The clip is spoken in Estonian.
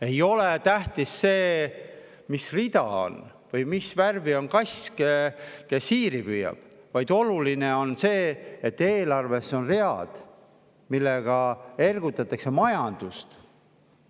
Ei ole tähtis see, mis rida on või mis värvi on kass, kes hiiri püüab, vaid oluline on see, et eelarves on read, millega ergutatakse majandust.